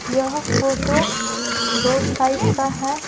यह photo road side का है ।